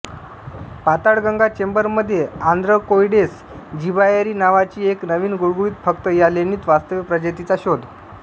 Patalganga chamber मध्ये आंध्रकोइडेस जिबॉएरी नावाची एक नवीन गुळगुळीत फक्त या लेणीत वास्तव्य प्रजातीचा शोध